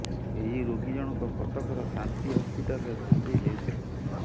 ଏହି ରୋଗୀ ଜଣକ କଟକର ଶାନ୍ତି ହସ୍ପିଟାଲରେ ଭର୍ତ୍ତି ହେଉଥିଲେ